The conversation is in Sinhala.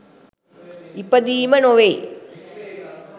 ඉපදීම නොවෙයි.